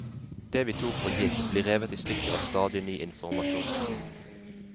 Det vi tok for gitt, blir revet i stykker av stadig ny informasjon.